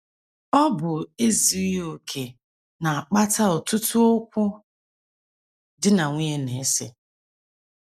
Ọ bụ ezughị okè na - akpata ọtụtụ okwu di na nwunye na - ese.